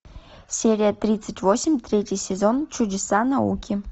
серия тридцать восемь третий сезон чудеса науки